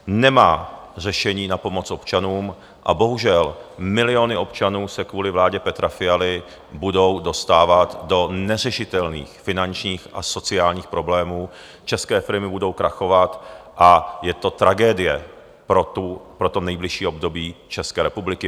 Nemá řešení na pomoc občanům a bohužel miliony občanů se kvůli vládě Petra Fialy budou dostávat do neřešitelných finančních a sociálních problémů, české firmy budou krachovat a je to tragédie pro to nejbližší období České republiky.